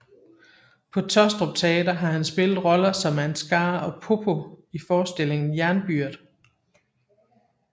På Taastrup Teater har han spillet roller som Ansgar og Poppo i forestillingen Jernbyrd